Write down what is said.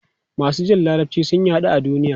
Masu jin Larabci sun yaɗu a duniya.